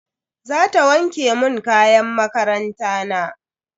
Zata wanke mun kayan makaranta na.